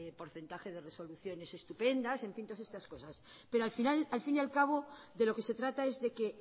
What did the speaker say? porcentaje de resoluciones estupendas en fin todas estas cosas pero al final al fin y al cabo de lo que se trata es de que